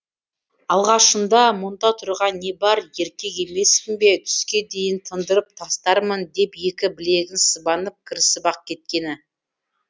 алғашында мұнда тұрған не бар еркек емеспін бе түске дейін тындырып тастармын деп екі білегін сыбанып кірісіп ақ кеткені